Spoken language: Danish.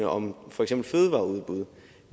om for eksempel fødevareudbud